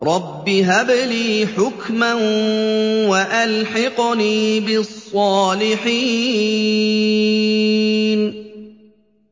رَبِّ هَبْ لِي حُكْمًا وَأَلْحِقْنِي بِالصَّالِحِينَ